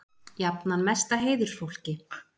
Jafnan mesta heiðursfólki.